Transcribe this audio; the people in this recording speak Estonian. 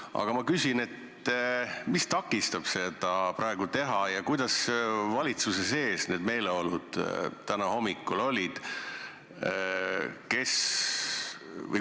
Aga ma küsin, mis takistab seda praegu teha ja kuidas valitsuse sees need meeleolud täna hommikul olid.